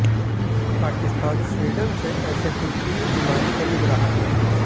Pakistan Sweden से ऐसे कुल तीन विमान खरीद रहा है